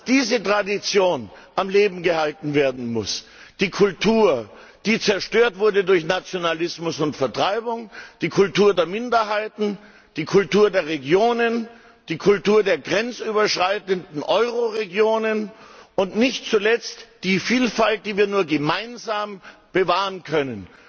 Diese Tradition muss am Leben erhalten werden, die Kultur, die zerstört wurde durch Nationalismus und Vertreibung, die Kultur der Minderheiten, die Kultur der Regionen, die Kultur der grenzüberschreitenden Euroregionen, und nicht zuletzt die Vielfalt, die wir nur gemeinsam bewahren können.